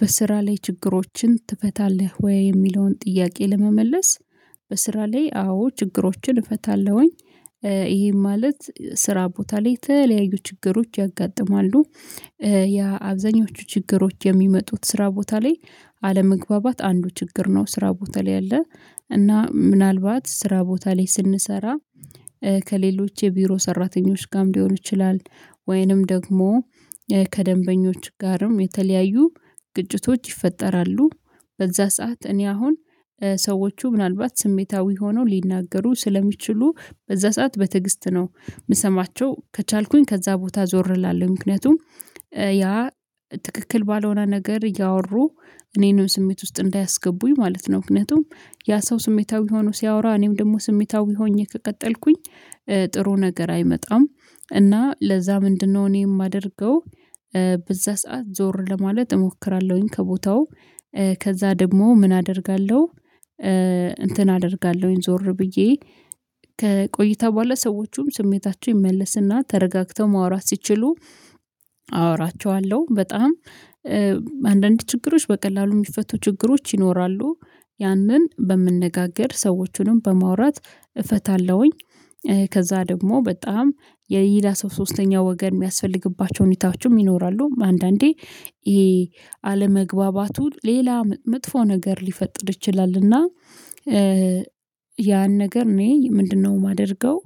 በስራ ላይ ችግሮችን ትፈታለህ ወይ የሚለውን ጥያቄ ለመመለስ? በስራ ላይ አዎ ችግሮችን እፈታለሁኝ። ይሄ ማለት ስራ ቦታ ላይ የተለያዩ ችግሮች ያጋጥማሉ። ያ አብዛኞቹ ችግሮች የሚመጡት ስራ ቦታ ላይ አለመግባባት አንዱ ችግር ነው። ስራ ቦታ ላይ ያለ እና ምናልባት ስራ ቦታ ላይ ስንሰራ ከሌሎች የቢሮ ሰራተኞች ጋም ሊሆን ይችላል። ወይንም ደግሞ ከደንበኞች ጋርም የተለያዩ ግጭቶች ይፈጠራሉ። በዛ ሰዓት እኔ አሁን ሰዎቹ ምናልባት ስሜታዊ ሆነው ሊናገሩ ስለሚችሉ በዛ ሰዓት በትዕግስት ነው የምሰማቸው ከቻልኩኝ ከዛ ቦታ ዞር እላለሁ ምክንያቱም ያ ትክክል ባልሆነ ነገር እያወሩ እኔንም ስሜት ውስጥ እንዳያስገቡኝ ማለት ነው። ምክንያቱም ያ ሰው ስሜታዊ ሆኖ ሲያወራ እኔም ደግሞ ስሜታዊ ሆኜ ከቀጠልኩኝ ጥሩ ነገር አይመጣም። እና ለዛ ምንድነው እኔ የማደርገው በዛ ሰዓት ዞር ለማለት እሞክራለሁኝ ከቦታው ከዛ ደግሞ ምን አደርጋለሁ። እንትን አደርጋለሁኝ ዞር ብዬ ከቆይታ በኋላ ሰዎቹም ስሜታቸው ይመለስና ተረጋግተው ማውራት ሲችሉ። በጣም አንዳንድ ችግሮች በቀላሉ የሚፈቱ ችግሮች ይኖራሉ። ያንን በመነጋገር ሰዎቹንም በማውራት እፈታለሁኝ። ከዛ ደግሞ በጣም የይላ ሰው ሶስተኛ ወገን የሚያስፈልግባቸው ሁኔታዎችም ይኖራሉ። አንዳንዴ ይሄ አለመግባባቱ ሌላ መጥፎ ነገር ሊፈጥር ይችላልና። ያን ነገር እኔ ምንድነው? የማደርገው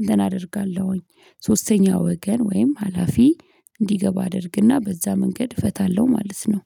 እንትን አደርጋለሁኝ ሶስተኛ ወገን ወይም ሀላፊ እንዲገባ አደርግና በዛ መንገድ እፈታለሁ ማለት ነው።